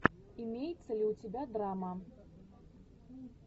имеется ли у тебя драма